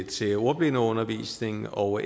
til ordblindeundervisning og